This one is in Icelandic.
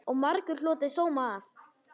Og margur hlotið sóma af.